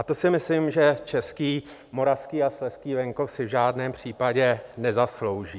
A to si myslím, že český, moravský a slezský venkov si v žádném případě nezaslouží.